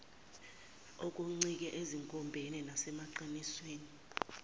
okuncike ezinkombeni nasemaqinisweni